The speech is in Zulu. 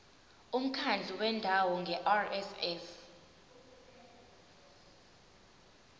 umkhandlu wendawo ngerss